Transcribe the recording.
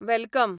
welcome